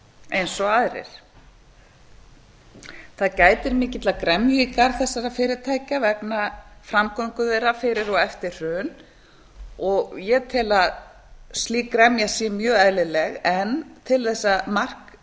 eins og aðrir það gætir mikillar gremju í garð þessara fyrirtækja vegna framgöngu þeirra fyrir og eftir hrun ég tel að slík gremja sé mjög eðlileg en til þess að mark